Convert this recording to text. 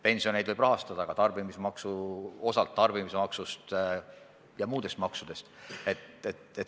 Pensioneid võib osaliselt rahastada ka tarbimismaksust ja muudest maksudest.